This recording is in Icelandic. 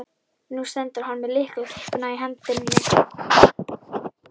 Nú stendur hann með lyklakippuna í hendinni.